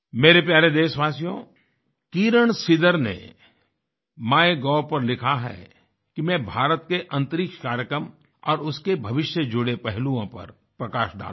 मेरे प्यारे देशवासियोकिरण सिदर ने माइगोव पर लिखा है कि मैं भारत के अंतरिक्ष कार्यक्रम और उसके भविष्य से जुड़े पहलुओं पर प्रकाश डालूं